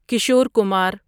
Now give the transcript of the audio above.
Kishore Kumar